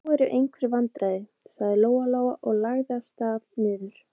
Nú eru einhver vandræði, sagði Lóa-Lóa og lagði af stað niður.